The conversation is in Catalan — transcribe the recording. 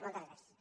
moltes gràcies